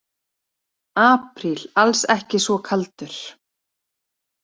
Apríl alls ekki svo kaldur